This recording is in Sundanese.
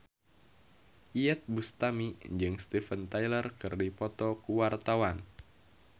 Iyeth Bustami jeung Steven Tyler keur dipoto ku wartawan